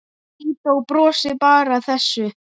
Lídó brosir bara að þessu.